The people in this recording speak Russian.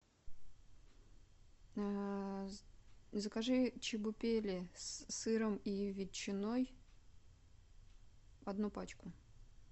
закажи чебупели с сыром и ветчиной одну пачку